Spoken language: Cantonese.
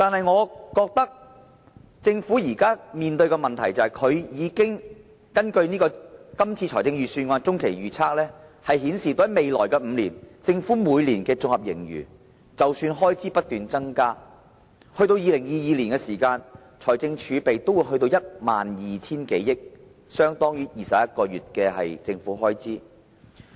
我覺得政府現時面對的問題是，根據財政預算案的中期預測，未來5年，即使開支不斷增加，政府每年的綜合盈餘仍會上升 ，2022 年的財政儲備會達至 12,000 多億元，相當於21個月的政府開支。